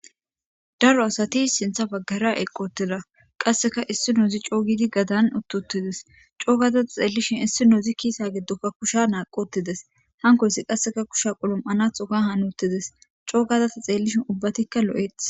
Daro asati sintha baggara eqqi uttida. Issi naazi sa'an uttidees. co gaada ta xeellishin issinozi kise giddoka kushe gelthi wothidees. Hankoysi qaseka kusha qalam'anatho histidi wothides.coo gaada ta xeelishin ubbatika lo'etees.